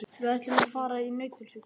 Við ætlum að fara í Nauthólsvík.